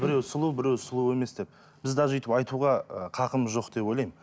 біреу сұлу біреу сұлу емес деп біз даже өйтіп айтуға ы хақымыз жоқ деп ойлаймын